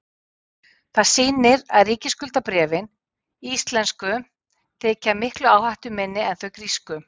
það sýnir að ríkisskuldabréfin íslensku þykja miklu áhættuminni en þau grísku